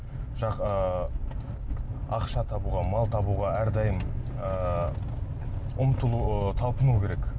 ыыы ақша табуға мал табуға әрдайым ыыы ұмтылу ы талпыну керек